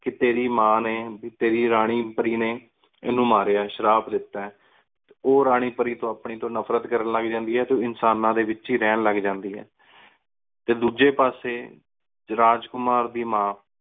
ਪੀ ਤਯਾਰੀ ਮਾਨ ਨੀ ਪੀ ਤ੍ਯ੍ਰੀ ਰਾਨੀ ਪਾਰੀ ਨਯਨ ਇਨੁ ਮਰਯ ਆਯ ਇਨੁ ਸ਼ਰਾਬ ਦੇਤਾ ਆਯ ਟੀ ਓ ਆਪਣੀ ਰਾਨੀ ਪਾਰੀ ਤੂੰ ਨਫਰਤ ਕਰਨ ਲਘ ਜਾਂਦੀ ਆਯ ਟੀ ਇਨਸਾਨਾ ਡੀ ਵੇਚੀ ਹੀ ਰਹਨ ਲਘ ਜਾਂਦੀ ਆਯ ਟੀ ਡੋਜੀ ਪਾਸੀ ਰਾਜਕੁਮਾਰ ਦੀ ਮਾਨ